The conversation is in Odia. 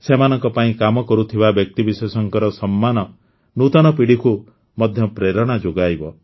ସେମାନଙ୍କ ପାଇଁ କାମ କରୁଥିବା ବ୍ୟକ୍ତିବିଶେଷଙ୍କ ସମ୍ମାନ ନୂତନ ପିଢ଼ିକୁ ମଧ୍ୟ ପ୍ରେରଣା ଯୋଗାଇବ